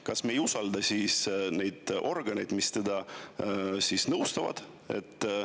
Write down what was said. Kas me ei usalda siis neid organeid, mis teda nõustavad?